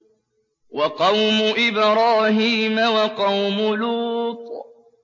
وَقَوْمُ إِبْرَاهِيمَ وَقَوْمُ لُوطٍ